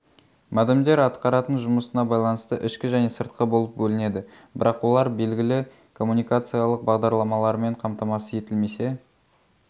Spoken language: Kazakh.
модемдер атқаратын жұмысына байланысты ішкі және сыртқы болып бөлінеді бірақ олар белгілі коммуникациялық бағдарламалармен қамтамасыз етілмесе